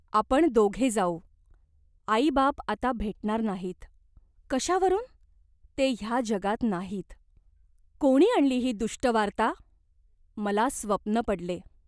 आपण दोघे जाऊ." "आईबाप आता भेटणार नाहीत." "कशावरून ?". "ते ह्या जगात नाहीत." "कोणी आणली ही दुष्ट वार्ता ?" "मला स्वप्न पडले.